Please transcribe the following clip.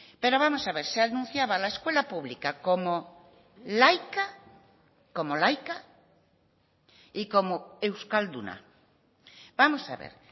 pero vamos a ver se anunciaba la escuela pública como laica como laica y como euskalduna vamos a ver